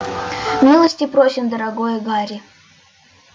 милости просим дорогой гарри